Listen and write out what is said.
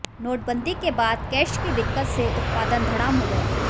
नोटबंदी के बाद कैश की दिक्कत से उत्पादन धड़ाम हो गया